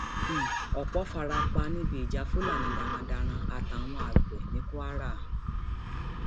um ọpọ fara pa níbi ìjà fúlàní darandaran àtàwọn àgbẹ ní kwara um